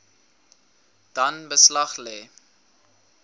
dan beslag lê